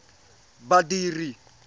badiri